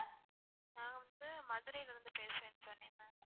நான் வந்து மதுரைல இருந்து பேசுரேனு சொன்னேன் ma'am